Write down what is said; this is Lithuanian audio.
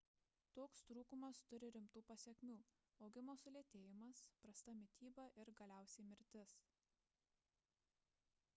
toks trūkumas turi rimtų pasekmių augimo sulėtėjimas prasta mityba ir galiausiai mirtis